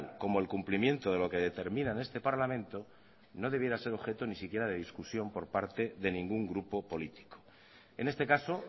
como el cumplimiento de lo que determina en este parlamento no debía ser objeto ni siquiera de discusión por parte de ningún grupo político en este caso